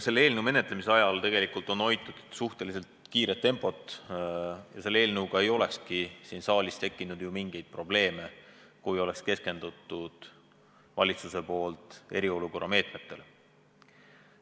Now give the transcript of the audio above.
Selle eelnõu menetlemisel on tegelikult hoitud suhteliselt kiiret tempot ja selle eelnõuga polekski siin saalis mingeid probleeme tekkinud, kui valitsus oleks keskendunud üksnes eriolukorraga seotud meetmetele.